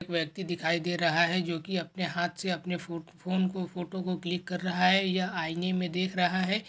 व्यक्ति दिखाई दे रहा है जो की अपने हाथ से अपने फोन को फोटो को क्लिक कर रहा है यह आईने मे देख रहा है।